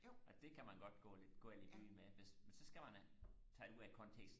og det kan man godt gå lidt galt i byen med hvis men så skal man tage det ud af kontekst